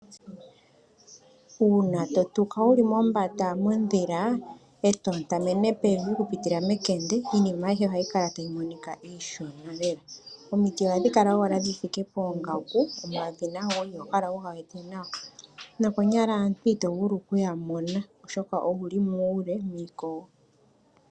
Uuna to tuka wu li mombanda mondhila e to ontamene pevi oku pitila mekende iinima ayihe ohayi kala tayi monika iishona lela. Omiti ohadhi kala owala dhi thike poongaku , nomamanya iho kala wu ga wete nawa nokonyala aantu ito vulu oku ya mona oshoka owu li muule miikogo.